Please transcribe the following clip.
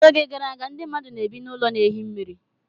N'oge gara aga, ndị mmadụ na-ebi n'ụlọ na ehi mmiri.